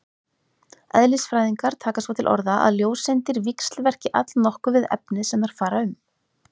Eðlisfræðingar taka svo til orða að ljóseindir víxlverki allnokkuð við efnið sem þær fara um.